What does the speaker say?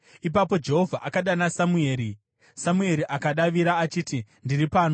Ipapo Jehovha akadana Samueri. Samueri akadavira achiti, “Ndiri pano.”